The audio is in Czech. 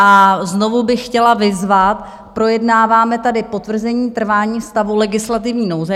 A znovu bych chtěla vyzvat, projednáváme tady potvrzení trvání stavu legislativní nouze.